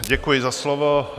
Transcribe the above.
Děkuji za slovo.